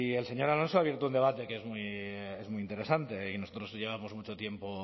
el señor alonso ha abierto un debate que es muy interesante y nosotros llevamos mucho tiempo